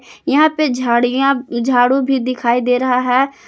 यहां पे झाड़ियां झाड़ू भी दिखाई दे रहा है।